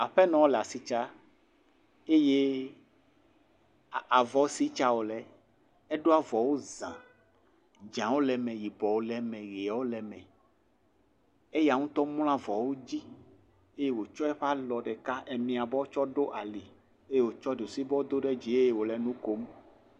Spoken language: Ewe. Aƒenɔ le asitsa eye avɔ si tsa wole eɖo avɔwo za, dzɔ̃awo le eme, yibɔwo le eme, ʋewo le eme, eya ŋutɔ mlɔ avɔwo dzi eye wotsɔ eye alɔ ɖeka miabɔ ɖo ali eye wotsɔ ɖusibɔ ɖo ali eye wole nu kom.